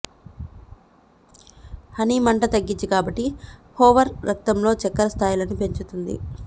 honey మంట తగ్గించి కాబట్టి హోవర్ రక్తంలో చక్కెర స్థాయిలను పెంచుతుంది